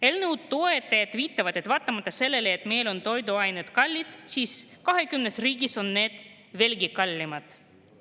Eelnõu toetajad viitavad, et vaatamata sellele, et meil on toiduained kallid, on need 20 riigis veelgi kallimad.